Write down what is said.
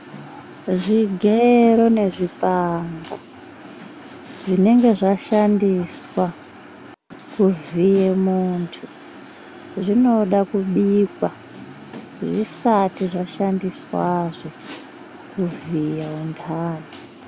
Zvigero nezvipanga zvinenge zvashandiswa kuvhiye muntu zvinoda kubika zvisati zvashandiswazve kuvhiya vantani.